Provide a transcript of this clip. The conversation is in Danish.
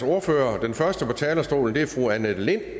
ordførere den første på talerstolen er fru annette lind